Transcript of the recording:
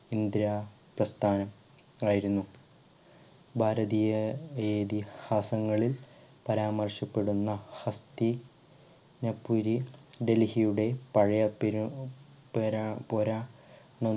ഇന്ദ്ര പ്രസ്ഥാനം ആയിരുന്നു ഭാരതീയ ഇതിഹാസങ്ങളിൽ പരാമർശപ്പെടുന്ന ഹസ്‌തിനപുരി ഡൽഹിയുടെ പഴയ പെരു പെര പുരാ